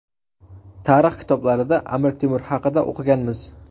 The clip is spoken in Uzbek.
Tarix kitoblarida Amir Temur haqida o‘qiganmiz.